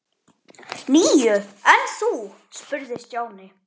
Níu, en þú? spurði Stjáni.